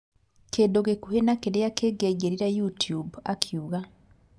"kĩndũ gĩkuhĩ na kĩrĩa kĩngĩaingĩrire youtube, "akiuga